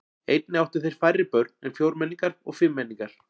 Einnig áttu þeir færri börn en fjórmenningar og fimmmenningar.